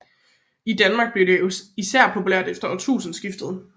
I Danmark blev det især populært efter årtusindeskiftet